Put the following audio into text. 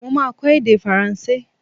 Mo máa kọ èdè faransé.